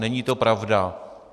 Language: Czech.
Není to pravda.